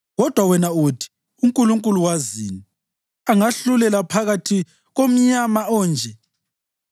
Kodwa wena uthi, ‘UNkulunkulu wazini? Angahlulela phakathi komnyama onje?